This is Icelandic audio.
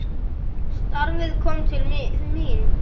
Starfið kom til mín!